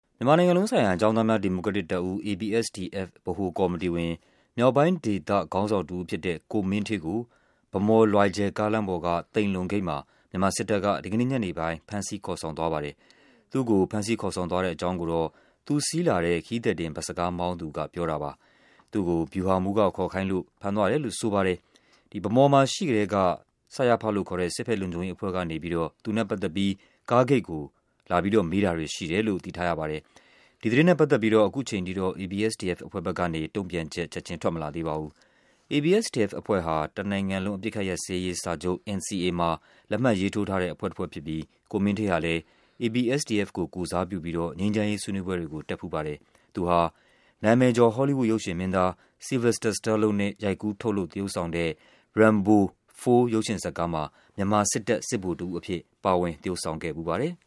မြန်မာနိုင်ငံလုံးဆိုင်ရာ ကျောင်းသားများ ဒီမိုကရက်တစ်တပ်ဦး ( ABSDF) ဗဟိုကော်မတီဝင် မြောက်ပိုင်းဒေသ ခေါင်းဆောင်တဦးဖြစ်တဲ့ ကိုမင်းဌေးကို ဗန်းမော်-လွယ်ဂျယ် ကားလမ်းပေါ်က သိမ်လုံဂိတ်မှာ မြန်မာစစ်တပ်က ဒီကနေ့ညနေပိုင်း ဖမ်းဆီးခေါ်ဆောင်သွားပါတယ်။ သူ့ကို ဖမ်းဆီးခေါ်ဆောင်သွားတဲ့အကြောင်းကိုတော့ သူစီးလာတဲ့ ခရီးသည်တင် ဘတ်စ်ကားမောင်းသူကပြောပါတယ်။ သူ့ကို ဗျူဟာမှူ းက ခေါ်ခိုင်းလို့ ဖမ်းသွားတယ်လို့ဆိုပါတယ်။ ဗန်းမော်မှာရှိနေကတည်းက စရဖ လို့ခေါ်တဲ့ စစ်ဖက်လုံခြုံရေးအဖွဲ့တွေကနေ သူနဲ့ ပတ်သက်ပြီး ကားဂိတ်ကို လာပြီးတော့ မေးတာတွေရှိတယ်လို့ သိထားရပါတယ်။ ဒီသတင်းနဲ့ ပတ်သက်ပြီးတော့ အခုအချိန်အထိတော့ ABSDF အဖွဲ့ဘက်ကနေ တုံ့ပြန်ချက် ချက်ချင်းထွက်မလာသေးပါဘူး။ ABSDF အဖွဲ့ဟာ တနိုင်ငံလုံး အပစ်အခတ်ရပ်စဲရေးစာချုပ် NCA မှာ လက်မှတ်ရေးထိုးထားတဲ့ အဖွဲ့ ၁ ဖွဲ့ဖြစ်ပြီး ဦးမင်းဌေးဟာလည်း ABSDF ကို ကိုယ်စားပြု ပြီး ငြိမ်းချမ်းရေးဆွေးနွေးပွဲတွေကို တက်ဖူးပါတယ်။ သူဟာ နာမည်ကျော် Hollywood ရုပ်ရှင်မင်းသား Sylvester Stallone ရိုက်ကူးထုတ်လုပ် သရုပ်ဆောင်တဲ့ Rambo 4 ရုပ်ရှင်မှာ မြန်မာစစ်တပ် စစ်ဗိုလ်တဦးအဖြစ် ပါဝင်သရုပ်ဆောင်ခဲ့ဖူးပါတယ်။